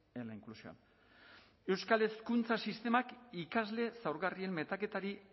en la inclusión euskal hezkuntza sistemak ikasle zaurgarrien metaketari